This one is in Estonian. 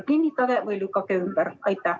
Kinnitage või lükake ümber!